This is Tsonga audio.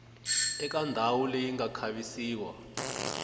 eka ndhawu leyi nga khavisiwa